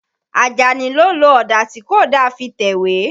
Àjàní ló lo ọ̀dà tí kò da fi tẹ̀wé.